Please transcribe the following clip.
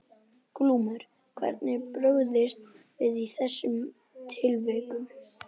Glúmur: Hvernig er brugðist við í þessum tilvikum?